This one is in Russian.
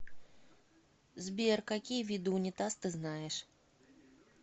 сбер какие виды унитаз ты знаешь